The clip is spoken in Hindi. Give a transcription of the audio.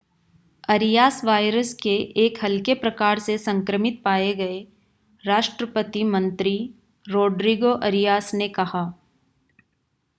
अरियास वायरस के एक हल्के प्रकार से संक्रमित पाए गये राष्ट्रपति मंत्री रोड्रिगो अरियास ने कहा